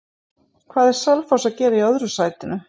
Hvað er Selfoss að gera í öðru sætinu?